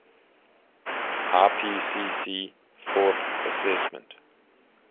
ipcc fourth assessment